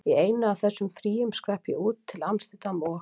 Í einu af þessum fríum skrapp ég út, til amsterdam og